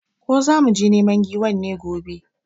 Ko zamu je neman giwan ne gobe?